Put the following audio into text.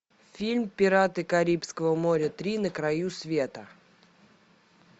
фильм пираты карибского моря три на краю света